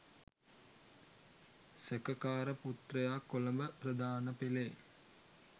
සැකකාර පුත්‍රයා කොළඹ ප්‍රධාන පෙළේ